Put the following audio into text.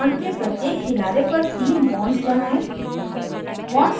bond के प्रत्येक किनारे पर तीन bonds बनायें